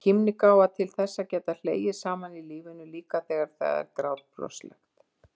KÍMNIGÁFA- til þess að geta hlegið saman að lífinu, líka þegar það er grátbroslegt.